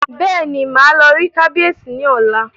Bẹ́ẹ̀ni, màá lọ rí kábíyèsí ní ọ̀la